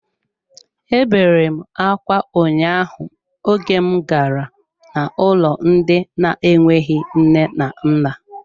Ebere m akwa ụnyaahụ oge m gara n'ụlọ ndị na enweghị nne na nna.